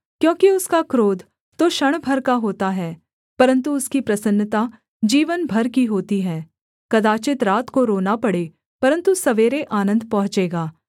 क्योंकि उसका क्रोध तो क्षण भर का होता है परन्तु उसकी प्रसन्नता जीवन भर की होती है कदाचित् रात को रोना पड़े परन्तु सवेरे आनन्द पहुँचेगा